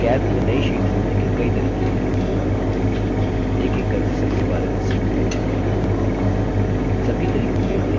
calc में नई sheet जोड़ने के कई तरीके हैं एकएक करके सबके बारे में सीखते हैं